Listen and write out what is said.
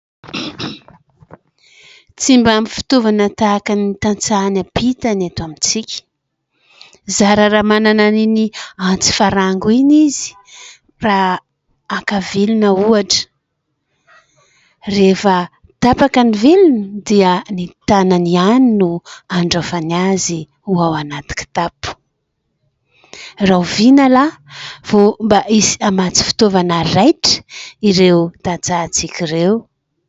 Tsy mba ampy fitaovana tahaka ny tantsaha any ampita ny eto amintsika, zarara manana an'iny antsy farango iny izy raha haka vilona ohatra. Rehefa tapaka ny vilona dia ny tanany ihany no andraofany azy ho ao anaty kitapo. Rahoviana la vao mba hisy hamatsy fitaovana raitra ireo tantsaha antsika ireo.